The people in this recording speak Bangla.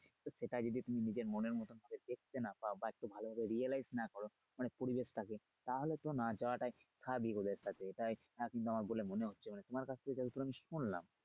তো সেটা যদি তুমি নিজের মনের মতো করে দেখতে না পাও বা একটু ভালোভাবে realize না করো মানে পরিবেশ থাকে তাহলে না যাওয়াটাই স্বাভাবিক ওদের সাথে তাই বলে আমার মনে হচ্ছে মানে তোমার কাছ থেকে যতটা আমি শুনলাম।